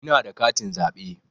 Ina da katin zaɓe.